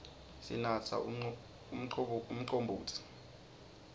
sinatsa umcombotsi